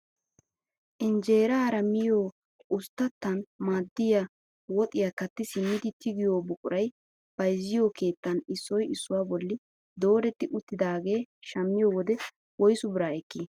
Injeerara miyoo usttatan maaddiyaa woxiyaa kaatti simmidi tigiyoo buquray bayzziyoo keettan issoy issuwaa bolli dooretti uttidagee shammiyoo wode woysu biraa ekkii?